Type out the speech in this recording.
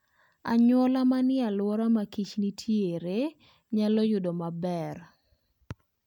Anyuola manie alwora makich nitiere nyalo yudo ber.